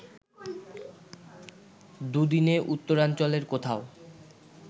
দুদিনে উত্তরাঞ্চলের কোথাও